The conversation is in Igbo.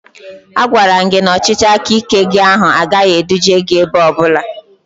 A gwaram gị na ọchịchị aka ike gị ahụ agaghị eduje gị ebe ọbụla